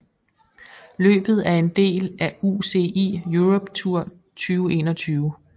Løbet er en del af UCI Europe Tour 2021